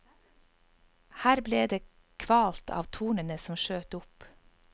Her ble det kvalt av tornene som skjøt opp.